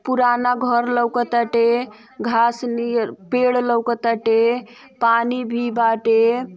पुराना घर लौकतआटे घांस नियर पेड़ लौकतआटे पानी भी बाटे।